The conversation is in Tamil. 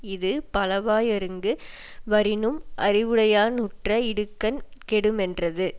இது பலவா யொருங்கு வரினும் அறிவுடையா னுற்ற இடுக்கண் கெடுமென்றது